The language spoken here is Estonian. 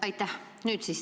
Aitäh!